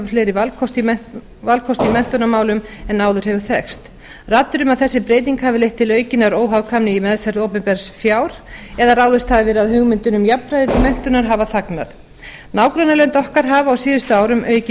fleiri valkosti í menntunarmálum en áður hefur þekkst raddir um að þessi breyting hafi leitt til aukinnar óhagkvæmni í meðferð opinbers fjar eða ráðist hafi verið að hugmyndum um jafnvægismennuntar hafa þangað nágrannalönd okkar hafa á síðustu árum aukið